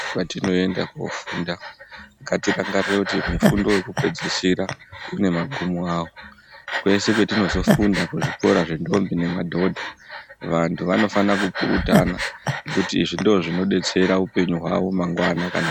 Patino enda kofunda ngati rangarire kuti mufundo yeku pedzisira une magumo awo kweshe kwetinozo funda ku zvikora zve ndombi ne madhodha vantu vano fana ku kurutana ngekuti izvi ndizvo zvino detsera upenyu hwawo mangwana kana.